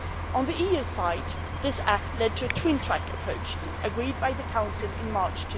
On the EU side, this act led to a twin track approach agreed by the Council in March